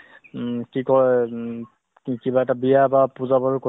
কিবা এহ্ মানে physically এটা activity নকৰিলে অ গাতো বেয়া লাগে ন